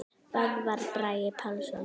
Böðvar Bragi Pálsson